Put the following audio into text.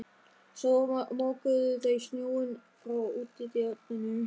Svo mokuðu þau snjóinn frá útidyrunum.